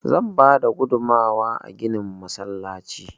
Zan bada gudunmawa a ginin masallaci.